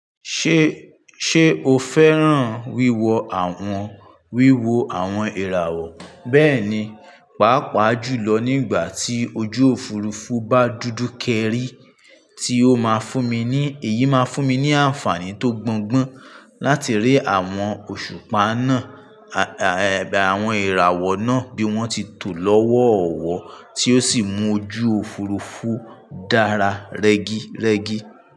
Ṣé, ṣe o fẹ́ràn wíwo àwọn, wíwo àwọn ìràwọ̀ bẹ́ẹ̀ni, pàápàá jùlọ nígbà tí ojú òfurufú bá dúdú kẹ́rì tí ó máa fún mi ní, èyí máa fún mi ní àǹfààní tó gbọ́ngbọ́n láti rí àwọn òṣùpá náà, à, àwọn ìràwọ̀ náà bí wọ́n tí tó lọ́wọ́ ọ̀wọ́ tí ó sì mú ojú òfurufú dára rẹ́gí, rẹ́gí.